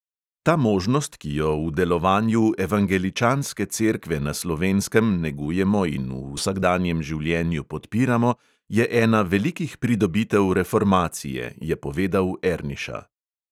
"Ta možnost, ki jo v delovanju evangeličanske cerkve na slovenskem negujemo in v vsakdanjem življenju podpiramo, je ena velikih pridobitev reformacije," je povedal erniša.